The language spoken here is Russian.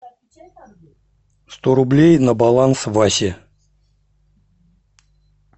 сто рублей на баланс васе